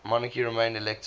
monarchy remained elective